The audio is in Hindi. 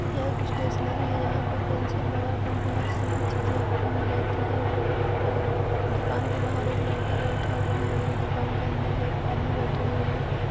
यह एक स्टेशनरी है। यहां पे पेंसिल रबर कंपास सभी चीजें आपको मिल जाती हैं। अ दुकान के बाहर एक लड़का बैठा हुआ है और दुकान के अंदर एक आदमी बैठे हुए हैं।